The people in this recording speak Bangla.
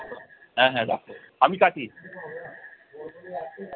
হ্যাঁ হ্যাঁ রাখো, আমি কাটি।